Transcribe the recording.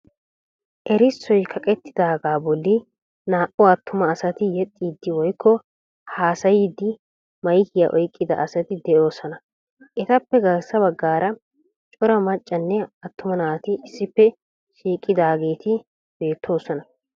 Erissoy kaqettidaagaa bolli naa"u attuma asati yexxiiddi woykko haasayiiddi maykiya oyqqida asati de'oosona etappe garssa baggaara Cora maccanne attuma naati issippe shiiqidaageeti beettoosona.